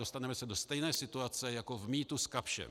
Dostaneme se do stejné situace jako v mýtu s Kapschem.